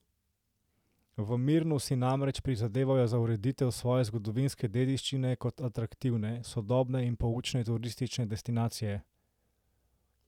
V Mirnu si namreč prizadevajo za ureditev svoje zgodovinske dediščine kot atraktivne, sodobne in poučne turistične destinacije.